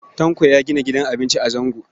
Tanko ya gina gidan abinci a Zango.